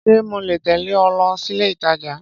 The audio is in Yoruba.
Ṣé mole tẹ̀lẹ́ ọ lọ sílé ìtajà?